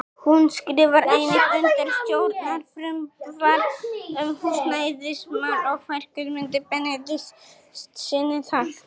Hún skrifar einnig undir stjórnarfrumvarp um húsnæðismál og fær Guðmundi Benediktssyni það.